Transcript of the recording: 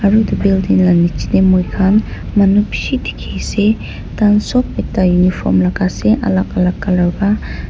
aro etu la building niche tey moi khan manu bishi dikhi ase tai sob ekta uniform lagai ase alak alak colour para.